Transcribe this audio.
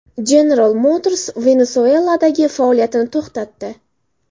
General Motors Venesueladagi faoliyatini to‘xtatdi.